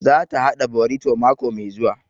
Za ta haɗa borito mako mai zuwa